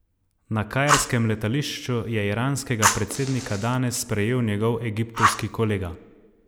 Na kairskem letališču je iranskega predsednika danes sprejel njegov egiptovski kolega.